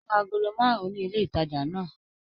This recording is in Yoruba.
Ó ra agolo márùn-ún ní ilé-ìtajà náà.